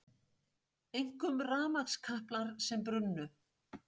Einkum rafmagnskaplar sem brunnu